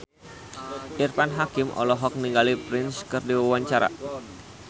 Irfan Hakim olohok ningali Prince keur diwawancara